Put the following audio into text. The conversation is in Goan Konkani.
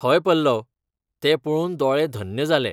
हय पल्लव! तें पळोवन दोळे धन्य जाले.